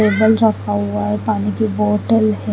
पानी की बोटल है।